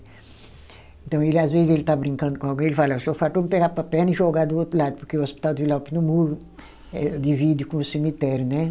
Então ele às vezes ele está brincando com alguém, ele fala, só faltou pegar para a perna e jogar do outro lado, porque o hospital de Vila Alpina, o muro divide com o cemitério, né?